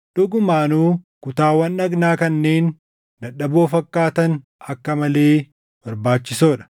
Dhugumaanuu kutaawwan dhagnaa kanneen dadhaboo fakkaatan akka malee barbaachisoo dha;